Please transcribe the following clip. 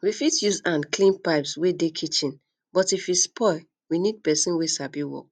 we fit use hand clean um pipes wey dey kitchen but if e spoil we need person wey sabi work